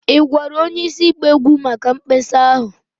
Ị gwara onye isi ịgba egwu maka mkpesa ahụ?